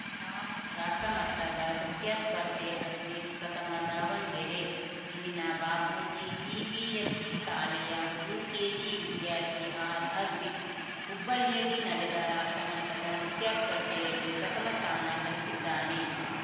top ರಾಷ್ಟ್ರಮಟ್ಟದ ನೃತ್ಯ ಸ್ಪರ್ಧೆ ಅದ್ವಿಕ್‌ ಪ್ರಥಮ ದಾವಣ್ಗೆರೆ ಇಲ್ಲಿನ ಬಾಪೂಜಿ ಸಿಬಿಎಸ್‌ಸಿ ಶಾಲೆಯ ಯುಕೆಜಿ ವಿದ್ಯಾರ್ಥಿ ಆರ್‌ಅದ್ವಿಕ್‌ ಹುಬ್ಬಳ್ಳಿಯಲ್ಲಿ ನಡೆದ ರಾಷ್ಟ್ರಮಟ್ಟದ ನೃತ್ಯ ಸ್ಪರ್ಧೆಯಲ್ಲಿ ಪ್ರಥಮ ಸ್ಥಾನ ಗಳಿಸಿದ್ದಾನೆ